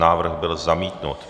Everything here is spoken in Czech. Návrh byl zamítnut.